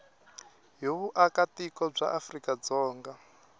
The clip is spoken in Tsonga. hi vuakatiko bya afrika dzonga